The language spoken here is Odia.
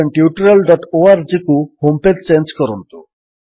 spoken tutorialorgକୁ ହୋମ୍ ପେଜ୍ ଚେଞ୍ଜ କରନ୍ତୁ